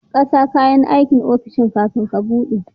ƙasa kayan aikin ofishin kafin ka buɗe